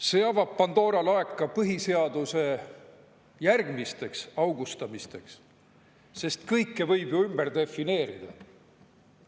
See avab Pandora laeka põhiseaduse järgmisteks augustamisteks, sest kõike võib ju ümber defineerida.